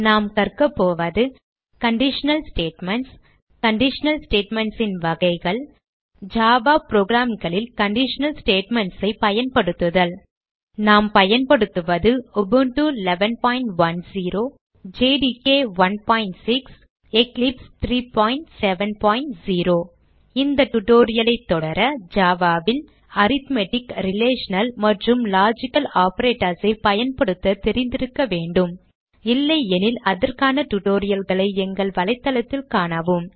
நாம் கற்க போவது கண்டிஷனல் ஸ்டேட்மென்ட்ஸ் கண்டிஷனல் statements ன் வகைகள் ஜாவா programகளில் கண்டிஷனல் statements ஐ பயன்படுத்துதல் நாம் பயன்படுத்துவது உபுண்டு 1110 ஜேடிகே 16 மற்றும் எக்லிப்ஸ் 370 இந்த tutorial ஐ தொடர Java ல் அரித்மெட்டிக் ரிலேஷனல் மற்றும் லாஜிக்கல் operators ஐ பயன்படுத்த தெரிந்திருக்க வேண்டும் இல்லையெனில் அதற்கான tutorial களை எங்கள் வலைத்தளத்தில் காணவும்